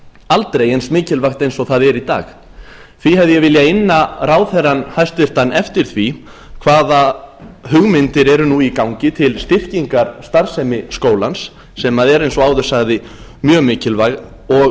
aldrei eins mikilvægt og það er í dag því hef ég viljað inna ráðherrann hæstvirtur eftir því hvaða hugmyndir eru nú í gangi til styrkingar starfsemi skólans sem er eins og áður sagði mjög mikilvæg og